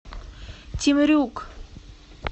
темрюк